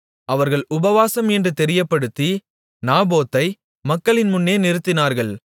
அவர்கள் உபவாசம் என்று தெரியப்படுத்தி நாபோத்தை மக்களின் முன்னே நிறுத்தினார்கள்